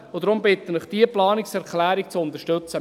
Deshalb bitte ich Sie, diese Planungserklärung zu unterstützen.